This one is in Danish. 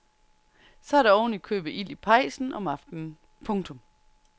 Så er der oven i købet ild i pejsen om aftenen. punktum